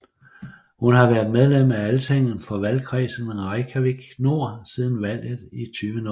Hun har været medlem af Altinget for valgkredsen Reykjavík Nord siden valget i 2007